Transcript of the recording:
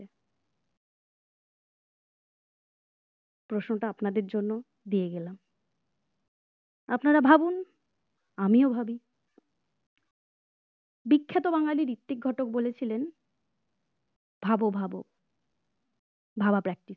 প্রশ্নটা আপনাদের জন্য দিয়ে গেলাম আপনারা ভাবুন আমিও ভাবি বিখ্যাত বাঙালির ঋত্বিক ঘটক বলেছিলেন ভাবো ভাবো ভাবা practice